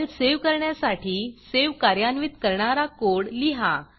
file save करण्यासाठी save कार्यान्वित करणारा कोड लिहा